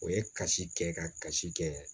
O ye kasi kɛ kasi kɛ